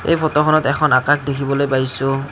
এই ফটোখনত এখন আকাশ দেখিবলে পাইছোঁ।